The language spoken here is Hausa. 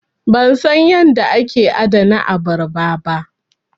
Ban san yadda ake adana abarba ba.